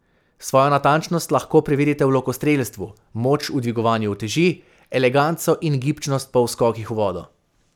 Svojo natančnost lahko preverite v lokostrelstvu, moč v dviganju uteži, eleganco in gibčnost pa v skokih v vodo.